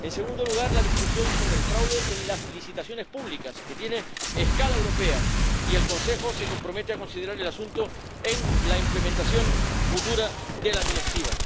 En segundo lugar, la discusión sobre el fraude en las licitaciones públicas que tiene escala europea, y el Consejo se compromete a considerar el asunto en la aplicación futura de la Directiva.